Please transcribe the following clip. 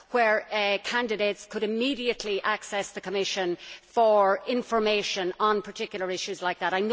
where candidates could immediately access the Commission for information on particular issues like that.